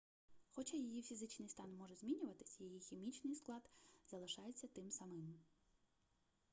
хоча її фізичний стан може змінюватись її хімічний склад залишається тим самим